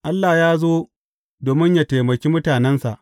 Allah ya zo domin yă taimaki mutanensa.